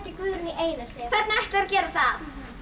Guðrúnu í einelti hvernig ætlarðu að gera það